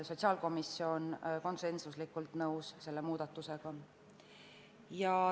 Sotsiaalkomisjon oli selle muudatusega konsensuslikult nõus.